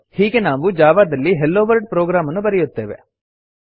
ಹೀಗೆ ನಾವು ಜಾವಾ ದಲ್ಲಿ ಹೆಲೊವರ್ಲ್ಡ್ ಪ್ರೊಗ್ರಾಮ್ ಅನ್ನು ಬರೆಯುತ್ತೇವೆ